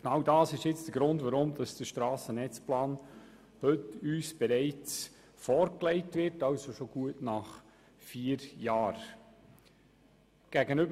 Genau dies ist der Grund, weshalb uns der Strassenetzplan bereits heute, das heisst nach gut vier Jahren, vorgelegt wird.